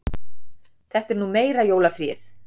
Þetta er nú meira jólafríið!